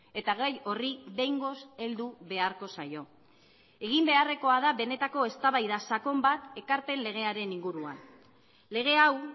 eta gai horri behingoz heldu beharko zaio egin beharrekoa da benetako eztabaida sakon bat ekarpen legearen inguruan lege hau